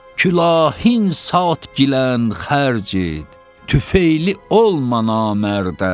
Külahınsa tgilən xərc et, tüfeyli olma namərdə.